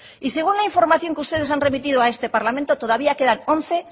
y según la información que ustedes han remitido a este parlamento todavía quedan once